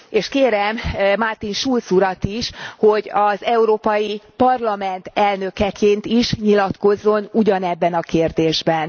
És kérem Martin Schulz urat is, hogy az Európai Parlament elnökeként is nyilatkozzon ugyanebben a kérdésben.